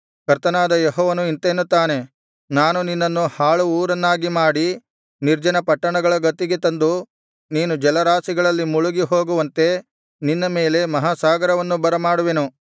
ಕರ್ತನಾದ ಯೆಹೋವನು ಇಂತೆನ್ನುತ್ತಾನೆ ನಾನು ನಿನ್ನನ್ನು ಹಾಳು ಊರನ್ನಾಗಿ ಮಾಡಿ ನಿರ್ಜನ ಪಟ್ಟಣಗಳ ಗತಿಗೆ ತಂದು ನೀನು ಜಲರಾಶಿಯಲ್ಲಿ ಮುಳುಗಿ ಹೋಗುವಂತೆ ನಿನ್ನ ಮೇಲೆ ಮಹಾಸಾಗರವನ್ನು ಬರಮಾಡುವೆನು